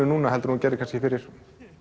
núna heldur en þú gerðir kannski fyrir